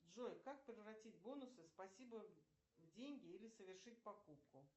джой как превратить бонусы спасибо в деньги или совершить покупку